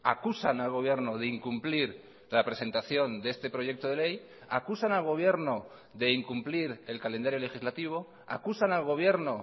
acusan al gobierno de incumplir la presentación de este proyecto de ley acusan al gobierno de incumplir el calendario legislativo acusan al gobierno